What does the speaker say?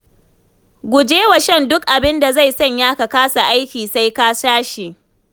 Guje wa shan duk abin da zai sanya ka kasa aiki sai ka sha shi.